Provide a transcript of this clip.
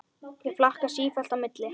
Ég flakka sífellt á milli.